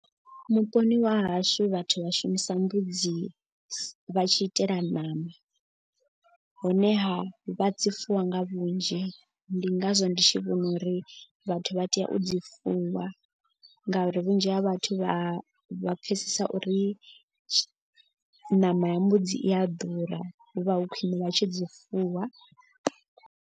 Vhuponi wa hashu vhathu vha shumisa mbudzi vha tshi itela ṋama. Honeha vha dzi fuwa nga vhunzhi ndi ngazwo ndi tshi vhona uri vhathu vha tea u dzi fuwa. Ngauri vhunzhi ha vhathu vha pfesesa uri ṋama ya mbudzi i a ḓura hu vha hu khwine vha tshi dzi fuwa.